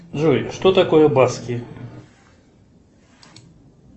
джой что такое баски